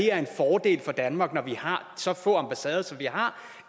er en fordel for danmark når vi har så få ambassader som vi har